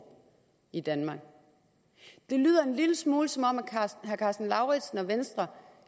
i danmark det lyder en lille smule som om herre karsten lauritzen og venstre